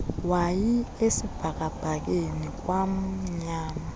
wayi esibhakabhakeni kwamnyama